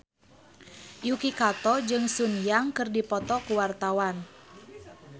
Yuki Kato jeung Sun Yang keur dipoto ku wartawan